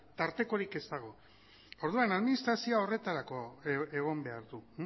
tartekorik ez dago orduan administrazioak horretarako egon behar du